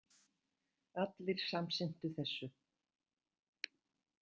Allir samsinntu þessu.